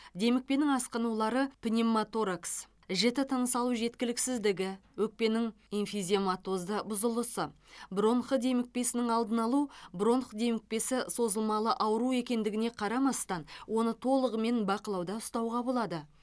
демікпенің асқынулары пневмоторакс жіті тыныс алу жеткіліксіздігі өкпенің эмфизематозды бұзылысы бронх демікпесінің алдын алу бронх демікпесі созылмалы ауру екендігіне қарамастан оны толығымен бақылауда ұстауға болады